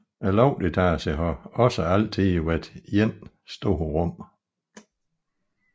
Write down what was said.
Loftsetagen har også altid været ét stort rum